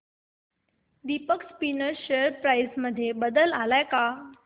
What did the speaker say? Deepak spinners share price मध्ये बदल आलाय का